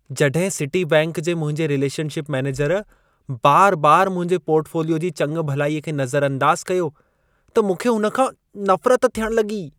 जॾहिं Citibank जे मुंहिंजे रिलेशनशिप मेनेजर बार बार मुंहिंजे पोर्टफोलियो जी चङभलाईअ खे नज़रअंदाज़ कयो, त मूंखे हुन खां नफ़रत थियण लॻी।